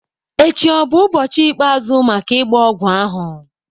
echi ọ bụ ụbọchị ikpeazụ maka ịgba ogwu ahụ?